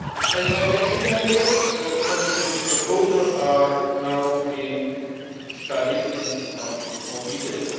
As I mentioned earlier, the Commission proposals are now being studied in much more detail.